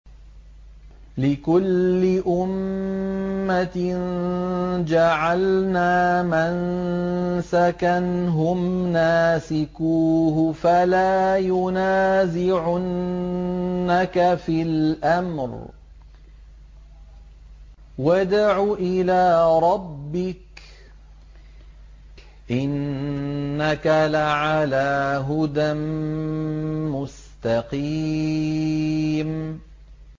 لِّكُلِّ أُمَّةٍ جَعَلْنَا مَنسَكًا هُمْ نَاسِكُوهُ ۖ فَلَا يُنَازِعُنَّكَ فِي الْأَمْرِ ۚ وَادْعُ إِلَىٰ رَبِّكَ ۖ إِنَّكَ لَعَلَىٰ هُدًى مُّسْتَقِيمٍ